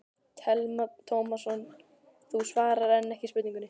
Telma Tómasson: Þú svarar enn ekki spurningunni?